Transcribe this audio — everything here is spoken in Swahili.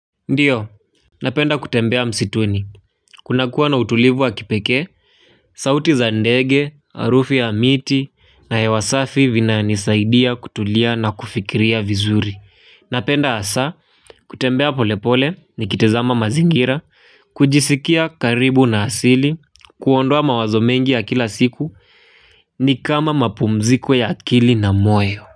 Ndiyo, napenda kutembea msituni, kuna kuwa na utulivu wa kipekee, sauti za ndege, harufu ya miti, na hewa safi vinanisaidia kutulia na kufikiria vizuri. Napenda hasa, kutembea polepole, nikitazama mazingira, kujisikia karibu na asili, kuondoa mawazo mengi ya kila siku, ni kama mapumziko ya akili na moyo.